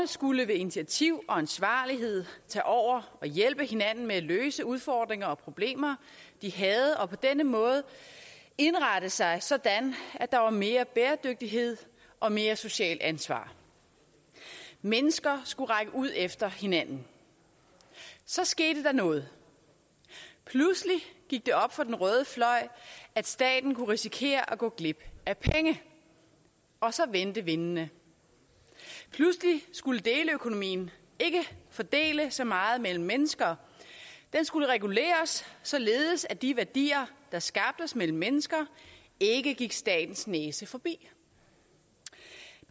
skulle ved initiativ og ansvarlighed tage over og hjælpe hinanden med at løse udfordringer og problemer de havde og på denne måde indrette sig sådan at der var mere bæredygtighed og mere socialt ansvar mennesker skulle række ud efter hinanden så skete der noget pludselig gik det op for den røde fløj at staten kunne risikere at gå glip af penge og så vendte vindene pludselig skulle deleøkonomien ikke fordele så meget mellem mennesker den skulle reguleres således at de værdier der skabtes mellem mennesker ikke gik statens næse forbi